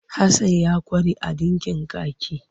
Hasan ya ƙware a ɗinkin kaki.